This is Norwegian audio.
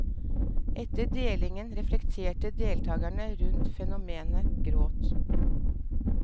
Etter delingen reflekterte deltakerne rundt fenomenet gråt.